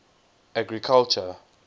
agriculture